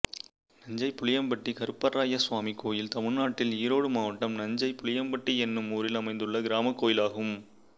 நஞ்சை புளியம்பட்டி கருப்பராயஸ்வாமி கோயில் தமிழ்நாட்டில் ஈரோடு மாவட்டம் நஞ்சை புளியம்பட்டி என்னும் ஊரில் அமைந்துள்ள கிராமக் கோயிலாகும்